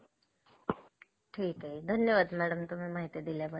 हम्म हम्म हम्म college अं